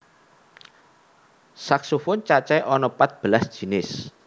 Saksofon cacahé ana pat belas jinis